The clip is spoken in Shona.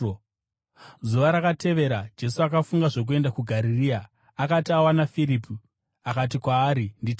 Zuva rakatevera Jesu akafunga zvokuenda kuGarirea. Akati awana Firipi akati kwaari, “Nditevere.”